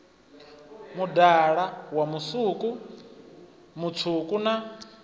mudala wa musuku mutswuku na